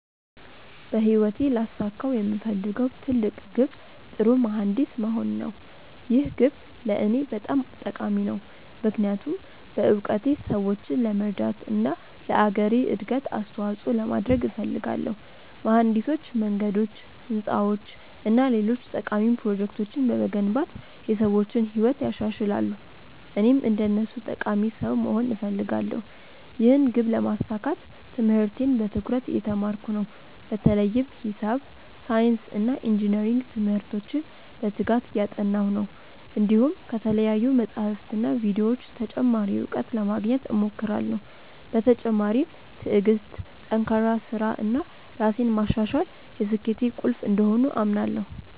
በህይወቴ ላሳካው የምፈልገው ትልቅ ግብ ጥሩ መሀንዲስ መሆን ነው። ይህ ግብ ለእኔ በጣም ጠቃሚ ነው፣ ምክንያቱም በእውቀቴ ሰዎችን ለመርዳት እና ለአገሬ እድገት አስተዋፅኦ ለማድረግ እፈልጋለሁ። መሀንዲሶች መንገዶች፣ ህንፃዎች እና ሌሎች ጠቃሚ ፕሮጀክቶችን በመገንባት የሰዎችን ህይወት ያሻሽላሉ፣ እኔም እንደነሱ ጠቃሚ ሰው መሆን እፈልጋለሁ። ይህን ግብ ለማሳካት ትምህርቴን በትኩረት እየተማርኩ ነው፣ በተለይም ሂሳብ፣ ሳይንስ እና ኢንጅነሪንግ ትምህርቶችን በትጋት እያጠናሁ ነው። እንዲሁም ከተለያዩ መጻሕፍትና ቪዲዮዎች ተጨማሪ እውቀት ለማግኘት እሞክራለሁ። በተጨማሪም ትዕግሥት፣ ጠንካራ ሥራ እና ራሴን ማሻሻል የስኬቴ ቁልፍ እንደሆኑ አምናለሁ።